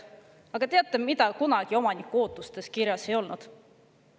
Aga teate, mida kunagi omaniku ootustes kirjas ei ole olnud?